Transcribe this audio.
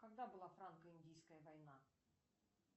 когда была франко индийская война